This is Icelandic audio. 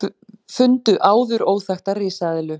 Fundu áður óþekkta risaeðlu